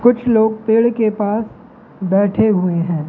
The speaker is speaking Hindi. कुछ लोग पेड़ के पास बैठे हुए हैं।